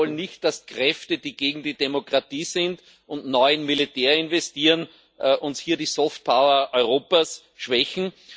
Wir wollen nicht, dass Kräfte, die gegen die Demokratie sind und nur in Militär investieren, uns hier die soft power Europas schwächen.